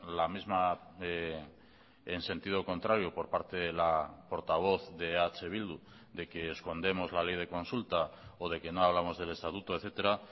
la misma en sentido contrario por parte de la portavoz de eh bildu de que escondemos la ley de consulta o de que no hablamos del estatuto etcétera